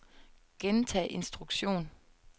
gentag instruktion